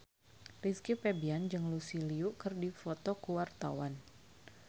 Rizky Febian jeung Lucy Liu keur dipoto ku wartawan